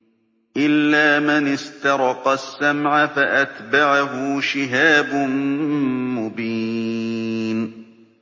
إِلَّا مَنِ اسْتَرَقَ السَّمْعَ فَأَتْبَعَهُ شِهَابٌ مُّبِينٌ